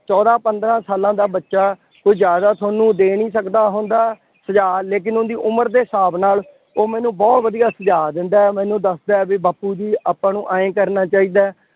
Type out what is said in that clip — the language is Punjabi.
ਚੋਦਾਂ ਪੰਦਰਾਂ ਸਾਲਾਂ ਦਾ ਬੱਚਾ ਕੁੱਝ ਜ਼ਿਆਦਾ ਤੁਹਾਨੁੂੰ ਦੇ ਨਹੀਂ ਸਕਦਾ ਹੁੰਦਾ, ਸੁਝਾਅ, ਲੇਕਿਨ ਉਹਦੀ ਉਮਰ ਦੇ ਹਿਸਾਬ ਨਾਲ ਉਹ ਮੈਨੂੰ ਬਹੁਤ ਵਧੀਆ ਸੁਝਾਅ ਦਿੰਦਾ ਹੈ। ਮੈਨੂੰ ਦੱਸਦਾ ਹੈ ਬਈ ਬਾਪੂ ਜੀ ਆਪਾਂ ਨੂੰ ਆਂਏਂ ਕਰਨਾ ਚਾਹੀਦਾ।